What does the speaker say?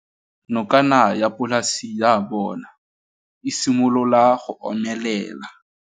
Nokana ya polase ya bona, e simolola go omelela.